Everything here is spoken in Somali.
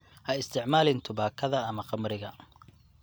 Ha isticmaalin tubaakada ama khamriga.